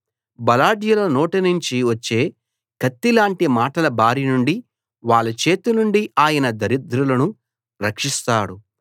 బలాఢ్యుల నోటి నుంచి వచ్చే కత్తిలాంటి మాటల బారి నుండి వాళ్ళ చేతి నుండి ఆయన దరిద్రులను రక్షిస్తాడు